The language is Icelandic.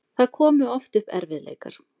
Það komu oft upp erfiðleikar.